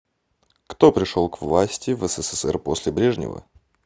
кто пришел к власти в ссср после брежнева